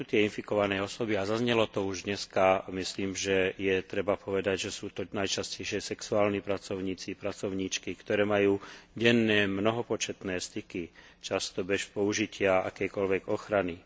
Kto sú tie infikované osoby a zaznelo to už, myslím dnes, myslím si, že sú to najčastejšie sexuálni pracovníci pracovníčky, ktorí majú denné mnohopočetné styky, často bez použitia akejkoľvek ochrany.